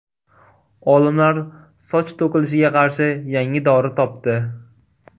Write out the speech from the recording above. Olimlar soch to‘kilishiga qarshi yangi dori topdi.